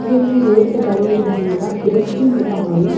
ಉಂದೊಂಜಿ ರೋಡ್ ದ ಬರಿಟ್ ಉಂತುದಿನ ಬ್ರಿಡ್ಜ್ ಇಂದ್ ಪನೊಲಿ.